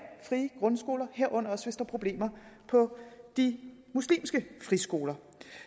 frie grundskoler herunder også hvis der er problemer på de muslimske friskoler